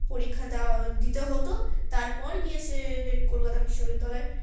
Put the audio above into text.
পরীক্ষা দেওয়া দিতে হতো তারপর গিয়ে সে কলকাতা বিশ্ববিদ্যালয়